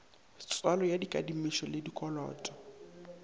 tswalo ya dikadimišo le dikoloto